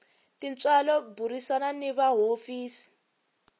tintswalo burisana ni va hofisi